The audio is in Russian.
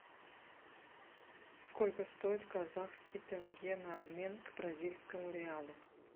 сколько стоит казахский тенге на обмен к бразильскому реалу